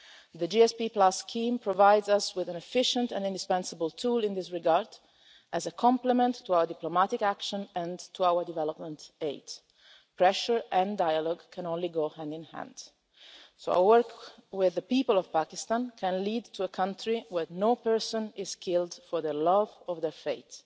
The GSP scheme provides us with an efficient and indispensable tool in this regard as a complement to our diplomatic action and to our development aid. Pressure and dialogue can only go hand-in-hand. So our work with the people of Pakistan can lead to a country where no person is killed for their love or their faith.